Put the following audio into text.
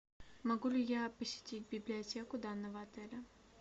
могу ли я посетить библиотеку данного отеля